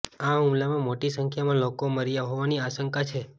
આ હુમલામાં મોટી સંખ્યામાં લોકો મર્યા હોવાની આશંકા છે